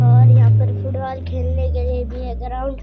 और यहाँ पर फुटबॉल खेलने के लिए भी है ग्राउंड ।